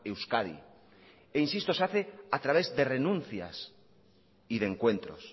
euskadi e insisto se hace a través de renuncias y de encuentros